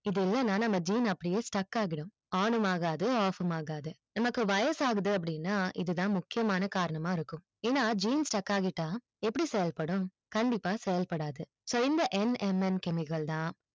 இது இல்லனா நம்ம gene கல் அப்படியே struck ஆகிடும் on ம் ஆகாது off ம் ஆகாது நமக்கு வயசாகுது அப்டின்னா இது தான் முக்கியமான காரணமா இருக்கும் ஏன்னா gene struck